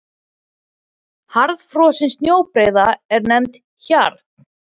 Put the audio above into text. Harðfrosin snjóbreiða er nefnd hjarn.